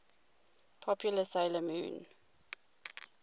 popular 'sailor moon